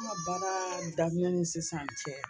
N ka baara daminɛ ni sisan cɛ